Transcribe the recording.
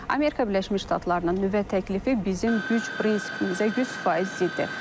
Amerika Birləşmiş Ştatlarının nüvə təklifi bizim güc prinsipimizə yüz faiz ziddir.